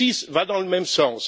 va dans le même sens.